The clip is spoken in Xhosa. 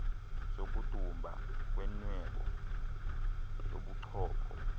sokudumba kwenwebu yobuchopho